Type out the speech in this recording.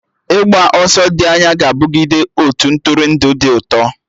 Ịgba ọsọ dị anya ga-abụgide otu Ntụrụndụ dị ụtọ